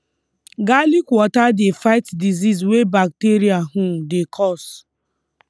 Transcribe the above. garlic water dey fight disease wey bacteria um dey cause